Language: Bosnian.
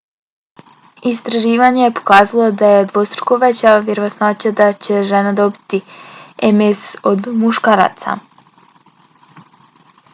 istraživanje je pokazalo da je dvostruko veća vjerovatnoća da će žene dobiti ms od muškaraca